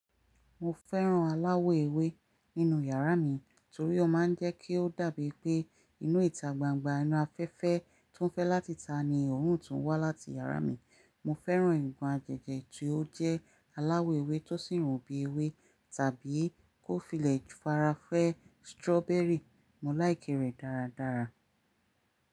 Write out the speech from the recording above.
Mo fẹ́ràn aláwọ̀ ewé nínú yàrá mi torí ó máa ń jẹ́ kí ó dàbí pé inú ìta gbangba inú afẹ́fẹ́ tó fẹ́ láti ita ní òórùn to wá láti yàrá mi. Mo fẹ́ràn ìkan aginjẹ̀ tí ó jẹ́ aláwọ̀ ewé tó sì rùn bí ewé tàbí kó filẹ̀ farafẹ́ strawberry, mo láìké rẹ̀ dáradára.